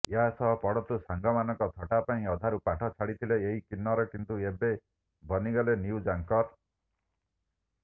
ଏହାସହ ପଢନ୍ତୁ ସାଙ୍ଗମାନଙ୍କ ଥଟ୍ଟା ପାଇଁ ଅଧାରୁ ପାଠ ଛାଡିଥିଲେ ଏହି କିନ୍ନର କିନ୍ତୁ ଏବେ ବନିଗଲେ ନିଉଜ ଆଙ୍କର